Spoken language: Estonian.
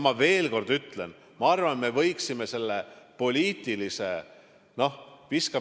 Ma veel kord ütlen: ma arvan, me võiksime selle poliitilise kemplemise lõpetada.